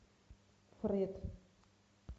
фред